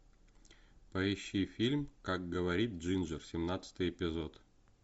поищи фильм как говорит джинджер семнадцатый эпизод